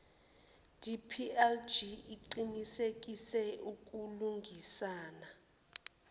dplg iqinisekise ukulungisana